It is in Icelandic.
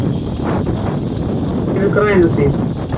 Yfirlitskort yfir Grænuhlíð.